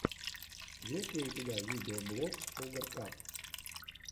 есть ли у тебя видеоблог шугар кап